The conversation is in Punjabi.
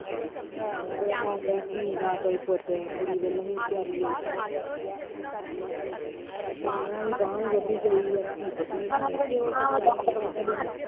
ਆਹੋ ਤੇ ਨਾ ਕੋਈ ਧੀ ਨਾ ਕੋਈ ਪੁੱਤ ਕੁੜੀ ਵਲੋਂ ਵੀ ਵਿਚਾਰੀ ਔਖੀ ਤੇ ਪ੍ਰਾਹੁਣਿਆਂ ਦੀ ਬਾਂਹ ਵੀ ਵੱਡੀ ਗਈ ਧੀ ਪੁੱਤ ਵੀ .